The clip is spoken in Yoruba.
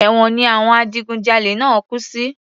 Èwọ̀n ni àwọn adigun jalè náà kú sí